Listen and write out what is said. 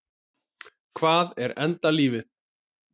Hvað er enda lífið?